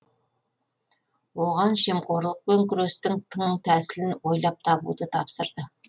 оған жемқорлықпен күрестің тың тәсілін ойлап табуды тапсырды